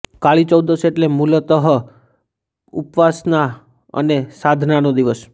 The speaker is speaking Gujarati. કાળી ચૌદશ એટલે મૂલતઃ ઉપાસના અને સાધનાનો દિવસ